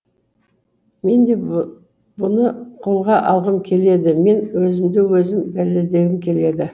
мен де бұны қолға алғым келеді мен өзімді өзім дәлелдегім келеді